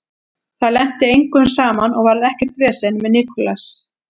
Það lenti engum saman og varð ekkert vesen með Nicolas.